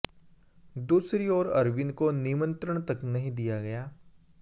दूसरी ओर अरविंद को निमंत्रण तक नहीं दिया गया